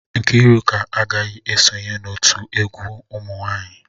Nkiruka aghaghi isonye n'otu egwu umunwanyi.